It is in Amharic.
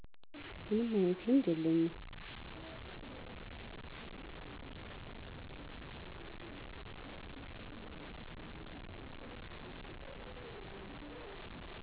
ምንም አይነት ልምድ የለኝም።